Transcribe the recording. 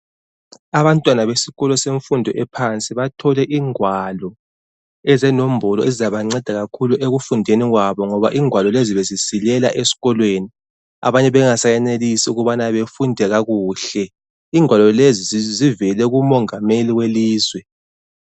Abantwana besikolo semfundo yaphansi bathole ingwalo ezenombolo ezizabanceda kakhulu ekufundeni kwabo ngoba ingwalo lezi bezisilela esikolweni. Abanye bengasayenelisi ukuba bafunde kakuhle. Ingwalo lezi zivele kumongameli welizwe.